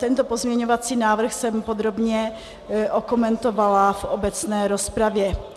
Tento pozměňovací návrh jsem podrobně okomentovala v obecné rozpravě.